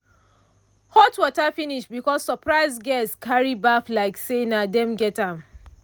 hot water finish because surprise guests carry baff like say na them get am.